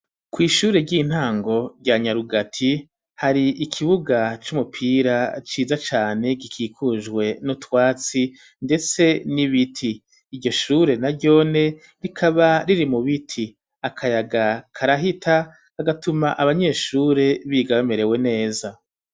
Kw''ishure ry'intango rya nyarugati hari ikibuga c'umupira ciza cane gikikujwe n'utwatsi ndetse n'ibiti iryoshure na ryonyene rikaba riri mu biti akayaga karahita kagatuma abanyeshure biga bamerewe neza.